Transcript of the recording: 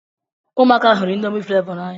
Ụmụaka hụrụ indomi flevo na-anya